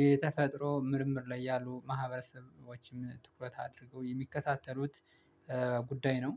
የተፈጥሮ ምርምር ላይ ያሉ ማህበረሰቦችም ትኩረት አድርገው የሚከታተሉት ጉዳይ ነው